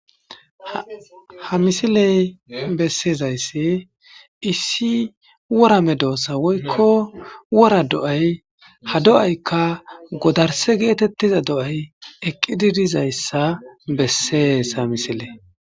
ha misiley bessezayssi issi wora me doossa woykko wora do'ay ha do'aykka godarse geetettiza do7ay eqqididizayssa bessees ha misiley